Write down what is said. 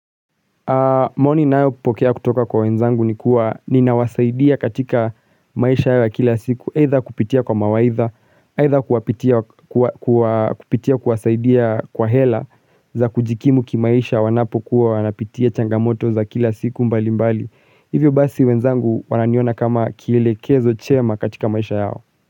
Maoni ninayopokea kutoka kwa wenzangu ni kuwa ninawasaidia katika maisha yao wa kila siku Eitha kupitia kwa mawaidha, eitha kupitia kuwasaidia kwa hela za kujikimu kimaisha wanapokuwa wanapitia changamoto za kila siku mbali mbali Hivyo basi wenzangu wananiona kama kielekezo chema katika maisha yao.